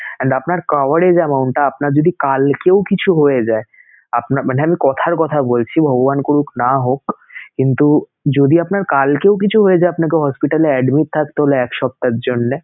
and আপনার coverage amount টা আপনার যদি কালকেও কিছু হয়ে যায়, আপনার মানে আমি কথার কথা বলছি ভগবান করুক না হোক কিন্তু যদি আপনার কালকেও কিছু হয়ে যায় আপনাকে hospital এ admit থাকতে হলো এক সপ্তাহর জন্যে